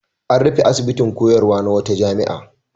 An rufe asibitin koyarwa na wata jami'a.